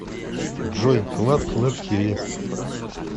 джой клад клэд ти ви